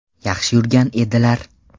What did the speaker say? Yaxshi yurgan edilar.